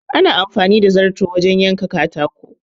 Ana amfani da zarto wajen yanke katako.